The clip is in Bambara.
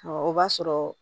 Ɔ o b'a sɔrɔ